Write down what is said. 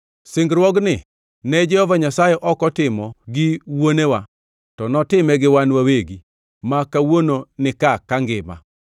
Singruogni ne Jehova Nyasaye ok otimo gi wuonewa, to notime gi wan wawegi, ma kawuono nika kangima.